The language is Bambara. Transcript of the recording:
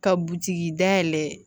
Ka butigi dayɛlɛ